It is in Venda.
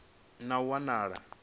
na u wa ha nila